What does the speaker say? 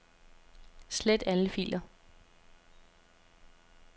Slet alle filer.